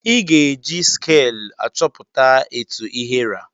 Ị ga-eji skel achọpụta etụ ihe ra.